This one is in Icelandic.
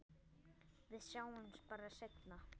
Við sjáumst bara seinna.